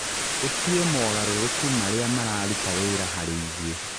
ũtue mogarũrũku maria mararuta wĩra harĩ ithuĩ.